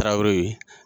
Tarawele